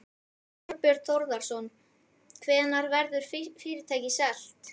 Þorbjörn Þórðarson: Hvenær verður fyrirtækið selt?